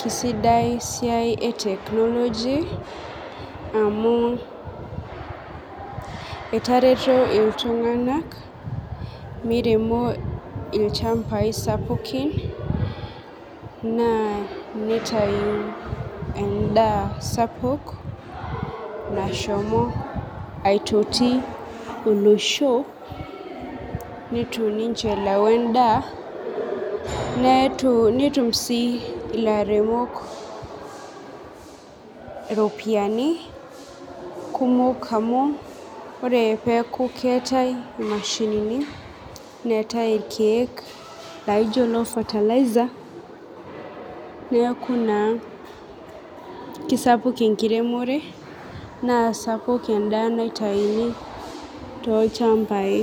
kesidai esiai e technology amu etareto ltunganak meiremo lchambai sapukin na nitau endaa sapuk nashomo aitoki olosho nitu niche elau endaa nietumi si laremok ropiyani kumok amu ore peaku keetae imashinini neetae irkiek naijo lo fertiliser, neaku na kisapuk enkiremore na sapuk endaa naitauni tolchmbai.